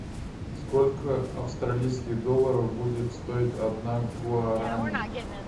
сколько австралийских долларов будет стоить одна гуарани